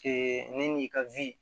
ne n'i ka